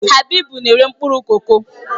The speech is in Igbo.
Habibu na-ere mkpụrụ koko.